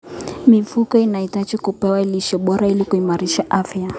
Mifugo inahitaji kupewa lishe bora ili kuimarisha afya.